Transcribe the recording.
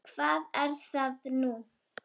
Hvað er það nú?